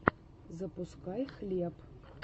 запускай хлеб